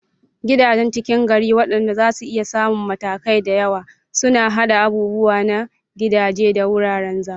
Gidajen ckin gari, waɗanda zasu iya samun matakai da yawa, suna haɗa abubuwa na gidaje da wuraren zama.